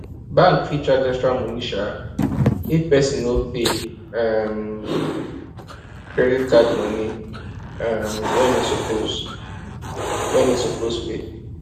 bank fit charge extra money um if person no pay um credit card money um when e suppose when e suppose pay